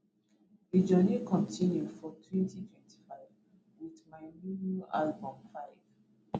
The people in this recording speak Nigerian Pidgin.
di journey continue for 2025 wit my new new album 5ive